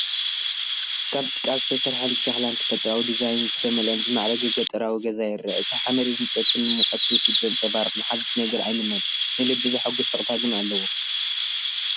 ካብ ጭቃ ዝተሰርሐን ብሸኽላን ተፈጥሮኣዊ ዲዛይንን ዝተመልአን ዝማዕረገ ገጠራዊ ገዛ ይርአ። እቲ ሓመድን ህንፀትን ንሙቐት ትውፊት ዘንፀባርቕ፤ ንሓድሽ ነገር ኣይምነን፡ ንልቢ ዘሐጉስ ስቕታ ግን ኣለዎ።